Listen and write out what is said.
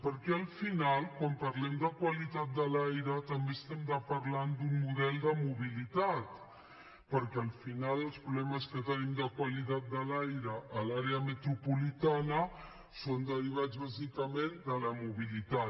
perquè al final quan parlem de qualitat de l’aire també estem parlant d’un model de mobilitat perquè al final els problemes que tenim de qualitat de l’aire a l’àrea metropolitana són derivats bàsicament de la mobilitat